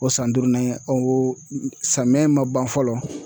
O san duurunan o samiyɛ ma ban fɔlɔ